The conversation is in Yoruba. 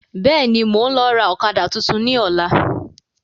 Bẹ́ẹ̀ni, mo ń lọ ra ọ̀kadà tuntun ni ọ̀la.